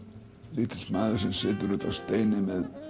lítill maður sem situr úti á steini með